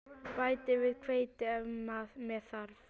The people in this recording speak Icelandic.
Bætið við hveiti ef með þarf.